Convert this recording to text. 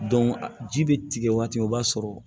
ji bɛ tigɛ waati min o b'a sɔrɔ